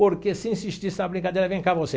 Porque se insistisse na brincadeira, vem cá você.